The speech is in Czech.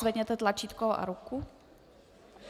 Zvedněte tlačítko a ruku.